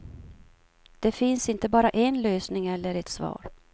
Det finns inte bara en lösning eller ett svar.